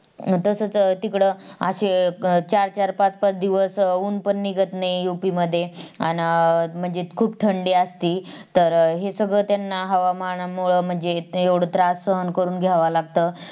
तसच तिकडं असे चार चार पाच पाच दिवस उन्हपण निघत नाही UP मध्ये आण अं म्हणजे खूप थंडी असती, तर हे सगळं त्यांना हवामानामूळ म्हणजे येवडा त्रास सहन करून घ्यावा लागत